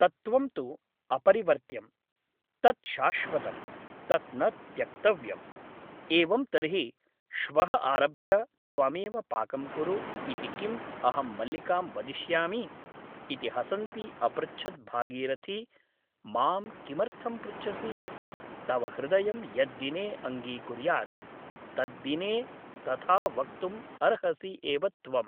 तत्त्वं तु अपरिवर्त्यम् । तत् शाश्वतम् । तत् न त्यक्तव्यम् । एवं तर्हि श्वः आरभ्य त्वमेव पाकं कुरु इति किम् अहं मल्लिकां वदिष्यामि ' इति हसन्ती अपृच्छत् भागीरथी मां किमर्थं पृच्छसि ? तव हृदयं यद्दिने अङ्गीकुर्यात् तद्दिने तथा वक्तुम् अर्हसि एव त्वम् ।